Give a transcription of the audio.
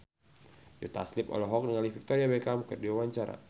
Joe Taslim olohok ningali Victoria Beckham keur diwawancara